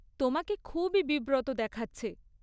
তোমাকে খুবই বিব্রত দেখাচ্ছে।